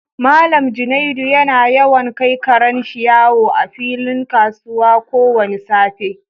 Mallam Junaid yana yawan kai karen shi yawo a filin kasuwa ko wani safe.